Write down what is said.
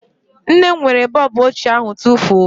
Nne m were bọọbụ ochie ahụ tufuo